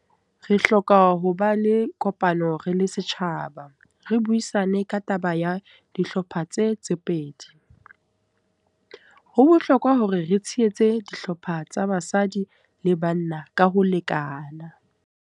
Re hloka ho ba le kopano re le setjhaba. Re buisane ka taba ya dihlopha tse tse pedi. Ho bohlokwa hore re tshehetse dihlopha tsa basadi le banna ka ho lekana.